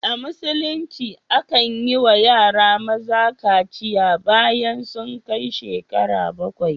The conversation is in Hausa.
A Musulunce akan yi wa yara maza kaciya bayan sun kai shekaru bakwai.